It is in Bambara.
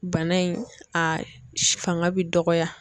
Bana in a s fanga bi dɔgɔya